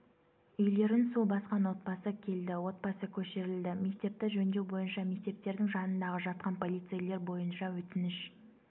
үйлерін су басқан отбасы келді отбасы көшірілді мектепті жөндеу бойынша мектептердің жанындағы жатқан полицейлер бойынша өтініш